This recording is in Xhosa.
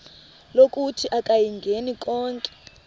lokuthi akayingeni konke